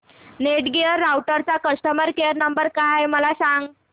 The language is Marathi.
नेटगिअर राउटरचा कस्टमर केयर नंबर काय आहे मला सांग